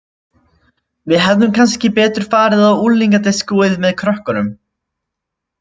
Við hefðum kannski betur farið á unglingadiskóið með krökkunum